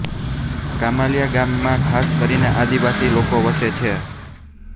કમાલીયા ગામમાં ખાસ કરીને આદિવાસી લોકો વસે છે